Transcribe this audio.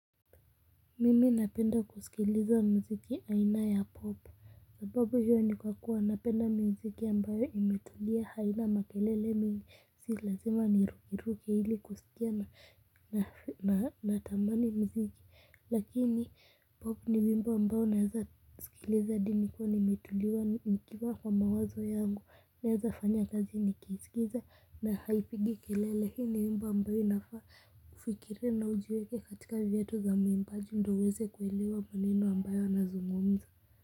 Mimi napenda kusikiliza muziki aina ya pop sababu hiyo ni kwa kuwa napenda muziki ambayo imetulia haina makelele mingi si lazima ni rukeruke ili kusikia na tamani muziki lakini pop ni wimbo ambao unaweza sikiliza hadi nikiwa nimetuliwa nikiwa kwa mawazo yangu naweza fanya kazi nikisikiza na haipigi kelele lakini wimbo ambao inafaa kufikiria na ujiweke katika viatu za mwimbaji ndo uweze kuelewa maneno ambayo yanazungumzwa.